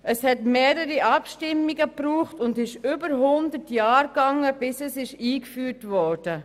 Es brauchte mehrere Abstimmungen und dauerte mehr als 100 Jahre, bis das Frauenstimmrecht eingeführt wurde.